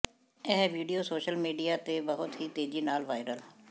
ਇਹ video social media ਤੇ ਬਹੁਤ ਹੀ ਤੇਜ਼ੀ ਨਾਲ ਵਾਇਰਲ